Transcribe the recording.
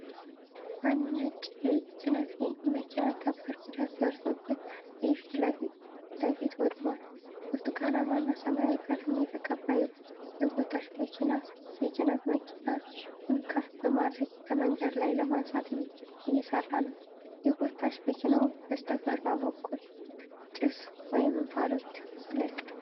አንድ ነጭ የጭነት መኪና ከባድ ጉዳት ደርሶበት፣ የፊት ለፊቱ ወድሟል። ብርቱካናማ እና ሰማያዊ ቀለም የተቀባ የጎታች መኪናየጭነት መኪናውን ከፍ በማድረግ ከመንገድ ላይ ለማንሳት እየሰራ ነው። የጎታች መኪናው በስተግራ በኩል ጭስ (እንፋሎት) ይለቃል፡፡